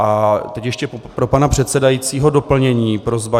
A teď ještě pro pana předsedajícího doplnění, prosba.